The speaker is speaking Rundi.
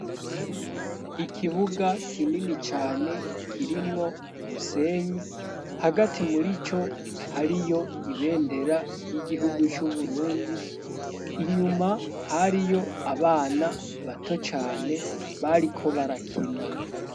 Ikibuga kinini cane kirimwo umusenyi, hagati muri co hariyo ibendera ry'igihugu c'Uburundi, inyuma hariyo abana bato cane bariko barakina.